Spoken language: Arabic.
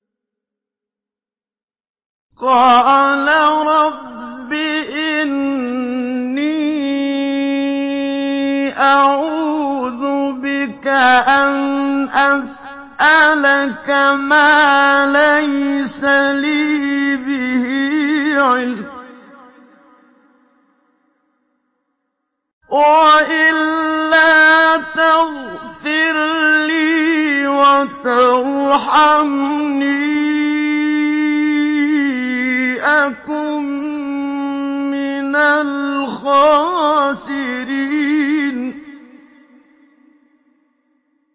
قَالَ رَبِّ إِنِّي أَعُوذُ بِكَ أَنْ أَسْأَلَكَ مَا لَيْسَ لِي بِهِ عِلْمٌ ۖ وَإِلَّا تَغْفِرْ لِي وَتَرْحَمْنِي أَكُن مِّنَ الْخَاسِرِينَ